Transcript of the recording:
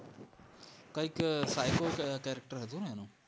કંઈક psycho character હતું ને એનું